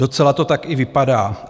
Docela to tak i vypadá.